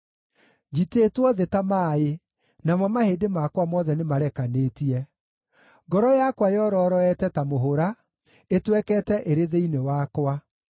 Njitĩtwo thĩ ta maaĩ, namo mahĩndĩ makwa mothe nĩmarekanĩtie. Ngoro yakwa yororoete ta mũhũra; ĩtwekete ĩrĩ thĩinĩ wakwa.